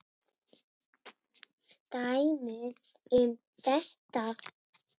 Dæmi um þetta